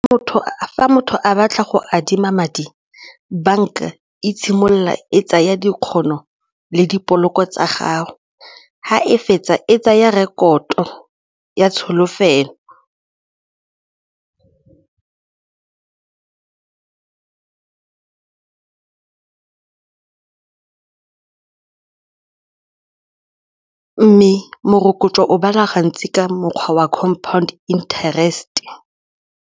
Fa motho a batla go adima madi banka e tshimolola e tsaya dikgono le dipoloko tsa gago ga e fetsa e tsaya rekoto ya tsholofelo mme morokotso o bala gantsi ka mokgwa wa compound interest.